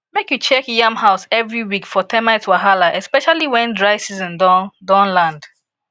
make you check yam house every week for termite wahala especially when dry season don don land